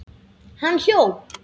Hann hljóp.